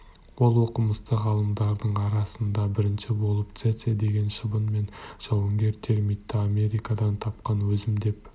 ол оқымысты ғалымдардың арасында бірінші болып цеце деген шыбын мен жауынгер термитті америкадан тапқан өзім деп